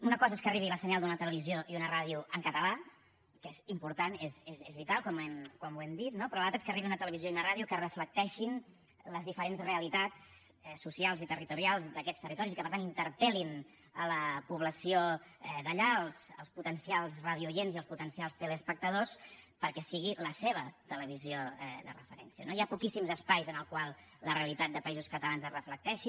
una cosa és que arribi el senyal d’una televisió i una ràdio en català que és important és vital com ho hem dit no però l’altre és que arribi una televisió i una ràdio que reflecteixin les diferents realitats socials i territorials d’aquests territoris i que per tant interpel·lin la població d’allà els potencials radiooients i els potencials teleespectadors perquè sigui la seva televisió de referència no hi ha poquíssims espais en els quals la realitat de països catalans es reflecteixi